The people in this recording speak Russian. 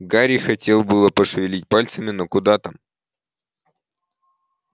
гарри хотел было пошевелить пальцами но куда там